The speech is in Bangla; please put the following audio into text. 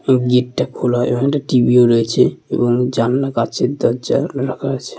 এবং গেট টা খোলা এবং একটা টি.ভি ও রয়েছে এবং জানলা কাঁচের দরজা রাখা আছে।